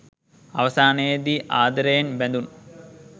අවසානයේදී ආදරයෙන් බැඳුණු